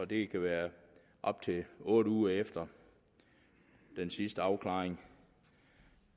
det kan være op til otte uger efter den sidste afklaring